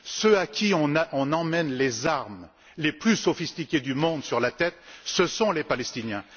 Ceux à qui on envoie les armes les plus sophistiquées du monde sur la tête, ce sont les Palestiniens.